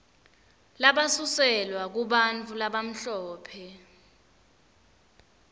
labasuselwa kubantfu labamhlophe